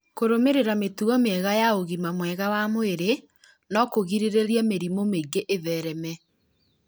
Kũrũmĩrĩra mĩtugo mĩega ya ũgima mwega wa mwĩrĩ no kũgirĩrĩrie mĩrimũ mĩingĩ ĩthereme